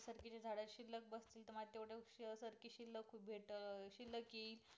भेटशील कि